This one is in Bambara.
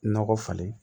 Nɔgɔ falen